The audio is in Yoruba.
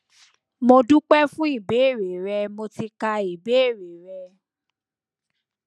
mo dúpẹ fún ìbéèrè rẹ mo ti ka ìbéèrè rẹ